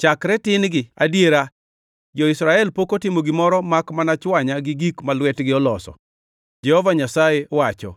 chakre tin-gi; adiera, jo-Israel pok otimo gimoro makmana chwanya gi gik ma lwetgi oloso, Jehova Nyasaye wacho.